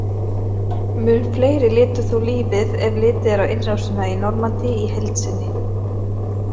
Mun fleiri létu þó lífið ef litið er á innrásina í Normandí í heild sinni.